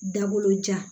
Dabolojan